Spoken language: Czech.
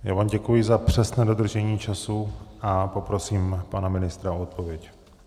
Já vám děkuji za přesné dodržení času a poprosím pana ministra o odpověď.